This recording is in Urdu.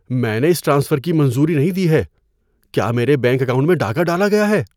میں نے اس ٹرانسفر کی منظوری نہیں دی ہے۔ کیا میرے بینک اکاؤنٹ میں ڈاکہ ڈالا گیا ہے؟